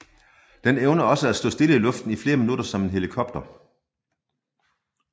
Den evner også at stå stille i luften i flere minutter som en helikopter